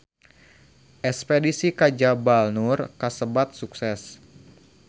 Espedisi ka Jabal Nur kasebat sukses